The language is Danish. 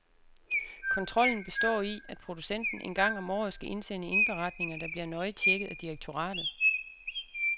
Kontrollen består i, at producenten en gang om året skal indsende indberetninger, der bliver nøje tjekket af direktoratet.